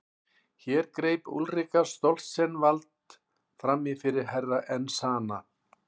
Hér greip Úlrika Stoltzenwald framí fyrir Herra Enzana.